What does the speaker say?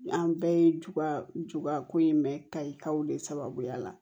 An bɛɛ ye ju ju ka ko in mɛn kayikaw de sababuya la